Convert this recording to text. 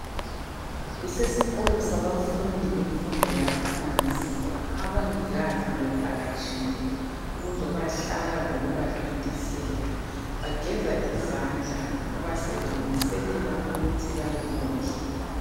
Kusesikolo sabafundi benfundo yaphansi, abongikazi bebevakatshile ukuzobahlaba lokubathontisela .Bageza izandla ngoba sebelungiselela ukuthi bayekudla.